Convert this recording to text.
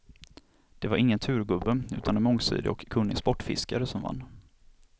Det var ingen turgubbe, utan en mångsidig och kunnig sportfiskare, som vann.